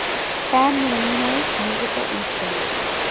san marinese musical instruments